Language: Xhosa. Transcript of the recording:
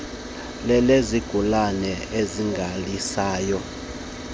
lezigulana ezingalaliswayo opd